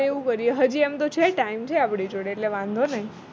એવું કરીએ હાજી એમ તો છે time છે આપણી જોડે એટલે વાંધો નઈ